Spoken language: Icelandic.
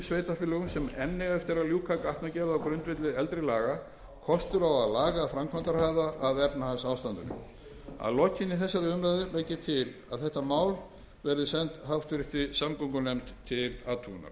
sveitarfélögum sem enn eiga eftir að ljúka gatnagerð á grundvelli eldri laga kostur á að laga framkvæmdahraða að efnahagsástandinu að lokinni þessari umræðu legg ég til að frumvarpið verði sent háttvirtur samgöngunefnd til athugunar